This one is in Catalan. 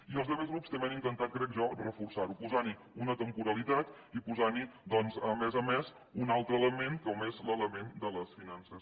i els altres grups també han intentat crec jo reforçar ho posant hi una temporalitat i posant hi doncs a més a més un altre element com és l’element de les finances